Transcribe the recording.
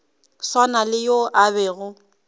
swana le yo a bego